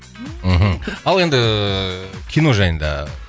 мхм ал енді кино жайында